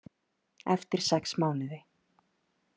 Eftir sex mánuði.